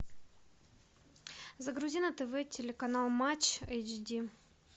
загрузи на тв телеканал матч эйч ди